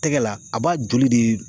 Tɛgɛ la a b'a joli de